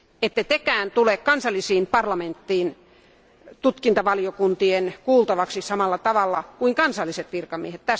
Ette tekään tule kansallisiin parlamentteihin tutkintavaliokuntien kuultavaksi samalla tavalla kuin kansalliset virkamiehet.